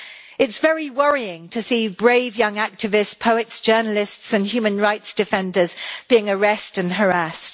It is very worrying to see brave young activists, poets, journalists and human rights defenders being arrested and harassed.